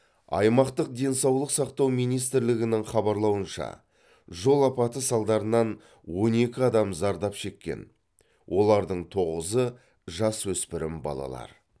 аймақтық денсаулық сақтау министрлігінің хабарлауынша жол апаты салдарынан он екі адам зардап шеккен олардың тоғызы жасөспірім балалар